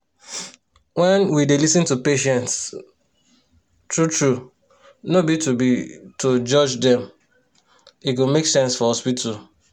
when we dey lis ten to patients um true-true no be to be to judge dem e go make sense for hospital.